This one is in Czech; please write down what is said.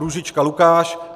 Růžička Lukáš